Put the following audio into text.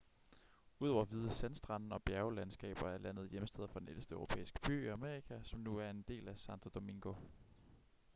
udover hvide sandstrande og bjerglandskaber er landet hjemsted for den ældste europæiske by i amerika som nu er en del af santo domingo